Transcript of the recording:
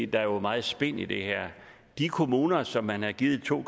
der er jo meget spin i det her de kommuner som man har givet to